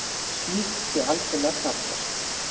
Slíkt sé algerlega þarflaust